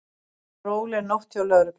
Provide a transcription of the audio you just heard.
Róleg nótt hjá lögreglu